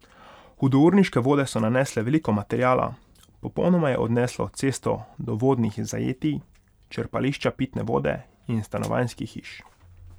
Hudourniške vode so nanesle veliko materiala, popolnoma je odneslo cesto do vodnih zajetij, črpališča pitne vode in stanovanjskih hiš.